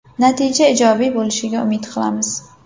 Natija ijobiy bo‘lishiga umid qilamiz.